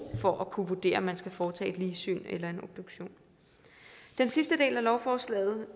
for at kunne vurdere om man skal foretage et ligsyn eller en obduktion den sidste del af lovforslaget